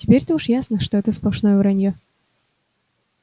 теперь-то уж ясно что это сплошное враньё